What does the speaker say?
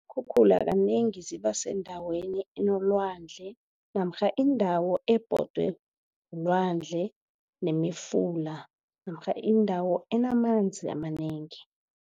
Iinkhukhula kanengi zibasendaweni enolwandle namkha indawo ebhodwe lilwandle nemifula namkha indawo enamanzi amanengi.